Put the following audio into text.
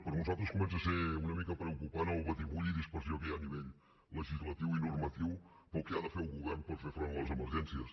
per nosaltres comença a ser una mica preocupant el batibull i dispersió que hi ha a nivell legislatiu i normatiu pel que ha de fer el govern per fer front a les emergències